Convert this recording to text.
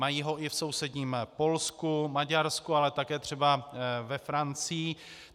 Mají ho i v sousedním Polsku, Maďarsku, ale také třeba ve Francii.